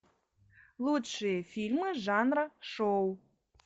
лучшие фильмы жанра шоу